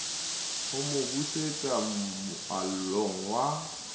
ho mo busetsa moalong wa